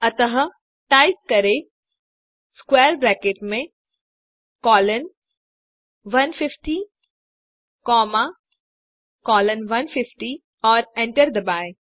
अतः टाइप करें I square bracket में कोलोन 150 कॉमा कोलोन 150 और एंटर दबाएँ